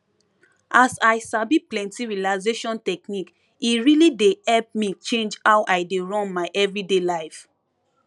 as i sabi plenty relaxation technique e really dey help me change how i dey run my everyday life